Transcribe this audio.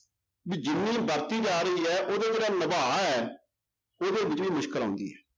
ਵੀ ਜਿੰਨੀ ਵਰਤੀ ਜਾ ਰਹੀ ਹੈ ਉਹਦੇ ਜਿਹੜਾ ਨਿਭਾ ਹੈ ਉਹਦੇ ਵਿੱਚ ਵੀ ਮੁਸ਼ਕਲ ਆਉਂਦੀ ਹੈ।